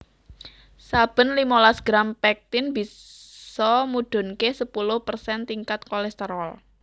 Saben limolas gram pektin bisa mudhunké sepuluh persen tingkat kolesterol